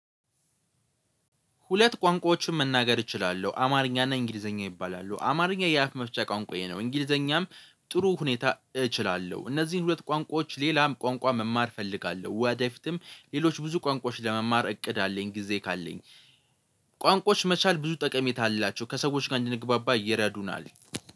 ሁለት ቋንቋዎችን መናገር እችላለሁ አማርኛ እና እንግሊዘኛ ይባላሉ አማርኛ የአፍ መፍቻ ቋንቋዬ ነው። እንግሊዘኛም ጥሩ ሁኔታ እችላለሁ እነዚህን ሁለት ቋንቋዎች ሌላም ቋንቋ መማር እፈልጋለሁ ወደፊትም ሌሎች ብዙ ቋንቋዎች ለመማር እቅድ አለኝ። ጊዜ ካለኝ። ቋንቋዎች መቻል ብዙ ጠቀሜታ አላቸው ከሰዎች ጋር እንድንግባባ ይረዱናል።